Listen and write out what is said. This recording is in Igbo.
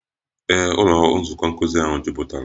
Ee, ụlọ nzukọ nkuzi ahụ jupụtara.